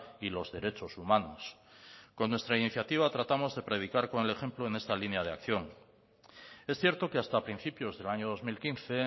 y los derechos humanos con nuestra iniciativa tratamos de predicar con el ejemplo en esta línea de acción es cierto que hasta principios del año dos mil quince